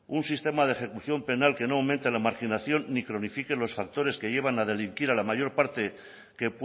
un sistema de ejecución penal que no aumente la marginación ni cronifique los factores que llevan a delinquir a la mayor parte que